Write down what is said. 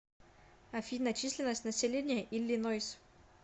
афина численность населения иллинойс